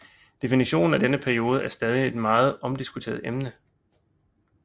Definitionen af denne periode er stadig et meget omdiskuteret emne